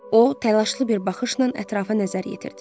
O təlaşlı bir baxışla ətrafa nəzər yetirdi.